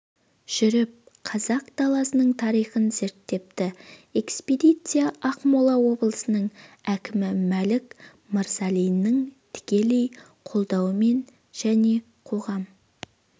жүріп қазақ даласының тарихын зерттепті экспедиция ақмола облысының әкімі мәлік мырзалиннің тікелей қолдауымен және қоғам